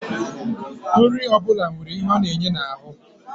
Nri ọ bụla nwere ihe ọ na-enye n'ahụ